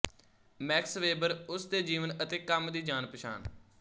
Max Weber ਉਸ ਦੇ ਜੀਵਨ ਅਤੇ ਕੰਮ ਦੀ ਜਾਣਪਛਾਣ